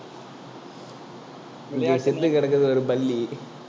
இங்க செத்து கிடக்குது ஒரு பல்லி